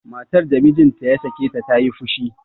matar da mijinta ya sake ta ta yi fushi